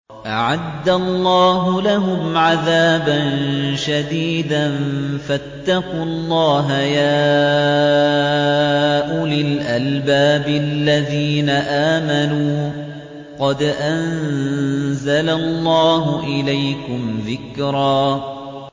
أَعَدَّ اللَّهُ لَهُمْ عَذَابًا شَدِيدًا ۖ فَاتَّقُوا اللَّهَ يَا أُولِي الْأَلْبَابِ الَّذِينَ آمَنُوا ۚ قَدْ أَنزَلَ اللَّهُ إِلَيْكُمْ ذِكْرًا